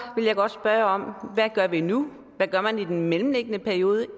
vil jeg godt spørge hvad gør vi nu hvad gør man i den mellemliggende periode